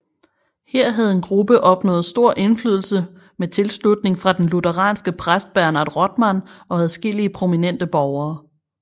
Her havde en gruppe opnået stor indflydelse med tilslutning fra den lutheranske præst Bernhard Rothmann og adskillige prominente borgere